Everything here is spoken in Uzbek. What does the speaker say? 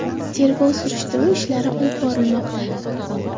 Tergov-surishtiruv ishlari olib bormoqda.